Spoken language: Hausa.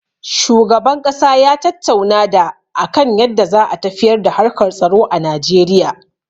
Shugaban ƙasa ya tattauna da a kan yadda za a tafiyar da harkar tsaro a Najeriya.